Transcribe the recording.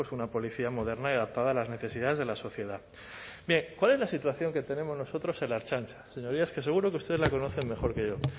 una policía moderna y adaptada a las necesidades de la sociedad bien cuál es la situación que tenemos nosotros en la ertzaintza señorías que seguro que ustedes la conocen mejor que yo